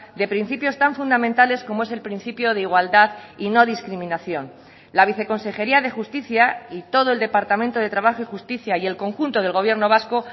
de principios tan fundamentales como es el principio de igualdad y no discriminación la viceconsejería de justicia y todo el departamento de trabajo y justicia y el conjunto del gobierno vasco